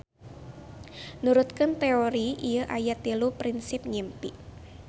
Nurutkeun teori ieu aya tilu prinsip ngimpi.